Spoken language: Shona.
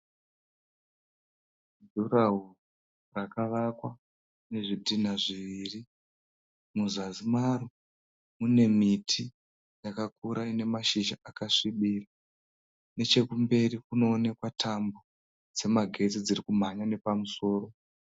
Jurahoro rakavakwa nezvidhina zviviri. Muzasi maro mune miti yakakura ine mashizha akasvibirira. Nechekumberi kunoonekwa tambo dzemagetsi dzirikumhanya nepamusoro.